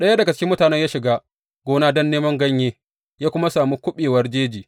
Ɗaya daga cikin mutanen ya shiga gona don neman ganyaye, ya kuwa sami kabewar jeji.